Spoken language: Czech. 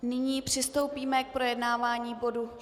Nyní přistoupíme k projednávání bodu